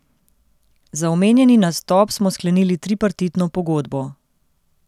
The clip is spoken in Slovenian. Za omenjeni nastop smo sklenili tripartitno pogodbo.